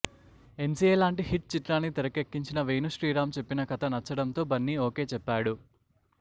MCA లాంటి hit చిత్రాన్ని తెరకేకించిన వేణు శ్రీరామ్ చెప్పిన కథ నచ్చడంతో బన్నీ ఓకే చెప్పాడు